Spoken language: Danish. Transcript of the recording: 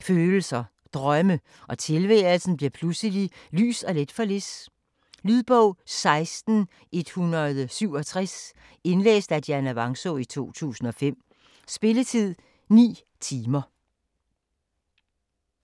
føleleser og drømme, og tilværelsen bliver pludselig lys og let for Liz. Lydbog 16167 Indlæst af Dianna Vangsaa, 2005. Spilletid: 9 timer, minutter.